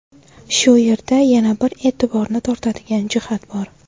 Shu yerda yana bir e’tiborni tortadigan jihat bor.